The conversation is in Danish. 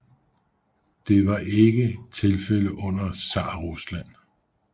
Det var ikke tilfælde under Zarrusland